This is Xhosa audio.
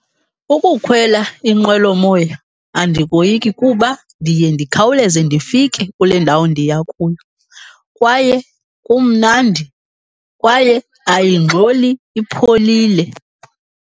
Ukukhwela inqwelomoya andikoyiki kuba ndiye ndikhawuleze ndifike kule ndawo ndiya kuyo. Kwaye kumnandi, kwaye ayingxoli ipholile.